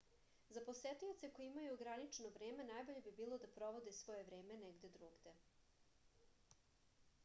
za posetioce koji imaju ograničeno vreme najbolje bi bilo da provode svoje vreme negde drugde